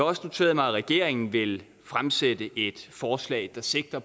også noteret mig at regeringen vil fremsætte et forslag der sigter